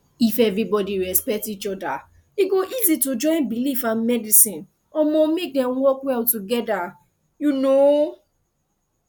if everybody respect each other e go easy to join belief and medicine um make dem work well together um